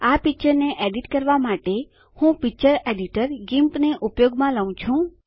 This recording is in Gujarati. આ પીક્ચરને એડીટ સુધારણા કરવા માટે હું પિક્ચર એડીટર ગિમ્પ ને ઉપયોગમાં લઉ છું